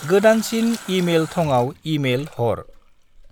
गोदानसिन इ-मेल थंआव इ-मेल हर।